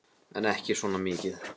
En ekki svona mikið.